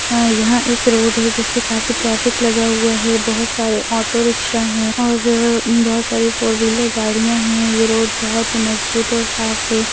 आ यहाँ एक रोड है जिसपे काफी ट्रैफिक लगा हुआ है बहुत सारे ऑटो रिक्शा है और बहुत सारी फोर व्हीलर गाड़ियाँ हैं ये रोड बहुत मजबूत और साफ़ है।